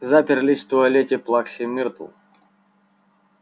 заперлись в туалете плаксы миртл